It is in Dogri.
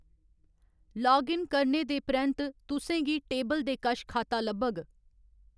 लाग इन करने दे परैंत्त, तुसें गी टेबल दे कश खाता लब्भग।